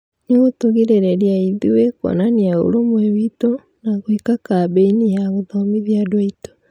Nĩgũtũrigĩrĩria ithuĩ kwonania ũũrũmwe witũ na gũĩka kambĩini ya gũthomithia andũ aitũ